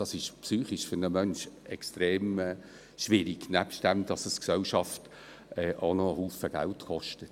Das ist für einen Menschen psychisch extrem schwierig, abgesehen davon, dass es die Gesellschaft auch noch viel Geld kostet.